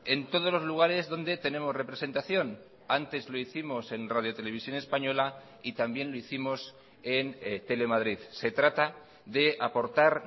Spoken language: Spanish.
en todos los lugares donde tenemos representación antes lo hicimos en radio televisión española y también lo hicimos en telemadrid se trata de aportar